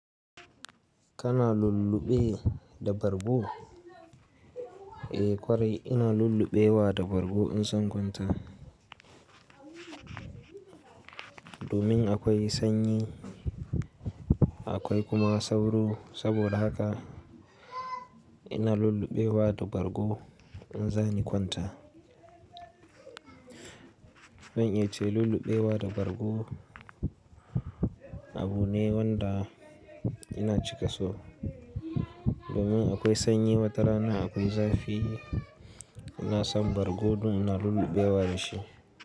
Kana lulluɓe da bargo? Eh kwari ina lulluɓewa da bargo in zan kwanta. Domin akwai sanyi, akwai kuma sauro saboda haka ina lulluɓewa da bargo in zani kwanta. Ban iya ce lulluɓewa da bargo abu ne wanda ina cika so. Domin akwai sanyi watarana akwai zafi ina san bargo domin ina lulluɓewa da shi.